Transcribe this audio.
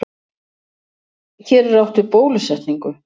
Hér er átt við bólusetningu.